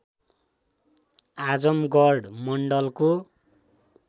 आजमगढ मण्डलको